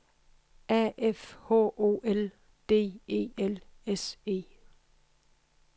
A F H O L D E L S E